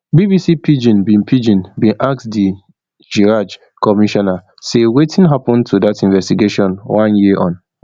bbc pidgin bin pidgin bin ask di chraj commissioner say wetin happun to dat investigation one year on